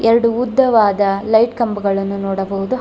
ಎರಡು ಉದ್ದವಾದ ಲೈಟ್ ಕಂಬಗಳನ್ನು ನೋಡಬಹುದು ಹ.